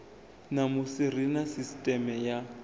ṋamusi ri na sisteme ya